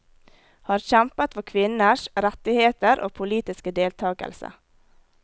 Har kjempet for kvinners rettigheter og politiske deltagelse.